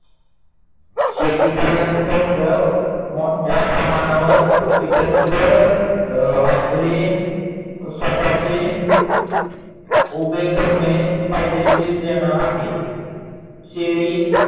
शेतकार्यन मोठ्या प्रमाणावर एकत्र आपले स्वताचे उभे करणे फायदेशीर देणार आहे. शेळी